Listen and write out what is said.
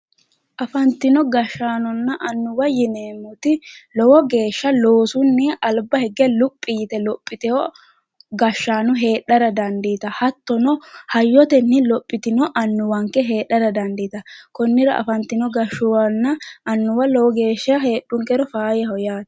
Afantino gashaanonna annuwa yineemmoti lowo geeshsha loosuni albaa hige luphi yte lophite gashshaano heedhara dandiittawo hattono hayyoteni lophitino annuwanke heedhara dandiittano konira afantino gashuwanna annuwa lowo geeshsha heedhunkero faayaho yaate.